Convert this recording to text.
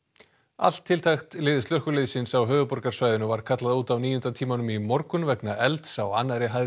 allt tiltækt lið slökkviliðsins á höfuðborgarsvæðinu var kallað út á níunda tímanum í morgun vegna elds á annarri hæð